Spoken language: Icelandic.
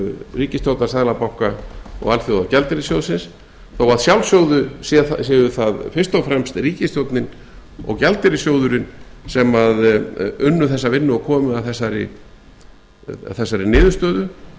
ríkisstjórnar seðlabanka og alþjóðagjaldeyrissjóðsins þó að sjálfsögðu séu það fyrst og fremst ríkisstjórnin og gjaldeyrissjóðurinn sem unnu þessa vinnu og komu að þessari niðurstöðu